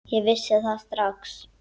Ég vissi það strax þá.